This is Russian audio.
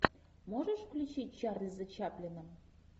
можешь включить чарльза чаплина